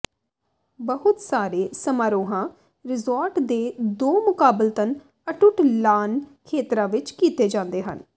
ਬਹੁਤ ਸਾਰੇ ਸਮਾਰੋਹਾਂ ਰਿਜੋਰਟ ਦੇ ਦੋ ਮੁਕਾਬਲਤਨ ਅਟੁੱਟ ਲਾਨ ਖੇਤਰਾਂ ਵਿੱਚ ਕੀਤੇ ਜਾਂਦੇ ਹਨ